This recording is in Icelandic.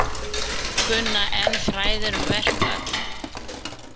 Kunna enn fræðin um verkföll